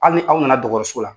Hali ni aw nana dɔgɔtɔrɔso la,